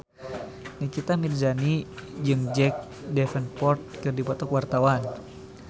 Nikita Mirzani jeung Jack Davenport keur dipoto ku wartawan